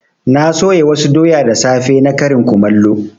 Na soya wasu doya da safe na karin kumallo.